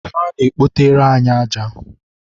ha na-ekpotere anyị aja.